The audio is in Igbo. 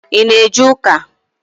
I ná eje ụka?